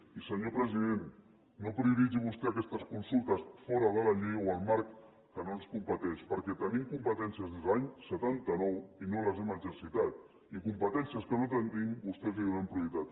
i senyor president no prioritzi vostè aquestes consultes fora de la llei o el marc que no ens competeix perquè tenim competències des de l’any setanta nou i no les hem exercit i competències que no tenim vostès els donen prioritat